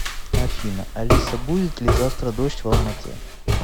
афина алиса будет ли завтра дождь в алма ате